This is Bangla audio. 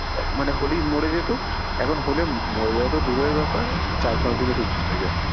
হ্যাঁ মানে হলেই মরে যেত এখন হলে মরে যাওয়া তো দূরের ব্যাপার চার পাঁচ দিনে সুস্থ হয়ে যায়।